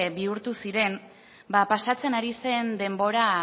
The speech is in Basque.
bihurtu ziren ba pasatzen ari zen denbora